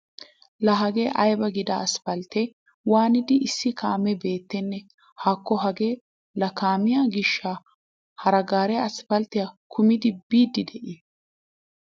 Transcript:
Laa hagee aybee mi'i giida aspalttiyan waanid issi kaamee beettenne? Haakko hagee laa kaamiya gishshaa haree gaaree aspalttiya kumidi biid de'iiye!